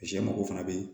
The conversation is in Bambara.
Sɛ mago fana bɛ yen